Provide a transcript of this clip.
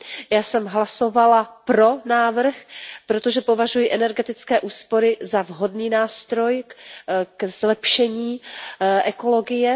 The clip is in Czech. Já jsem hlasovala pro návrh, protože považuji energetické úspory za vhodný nástroj ke zlepšení ekologie.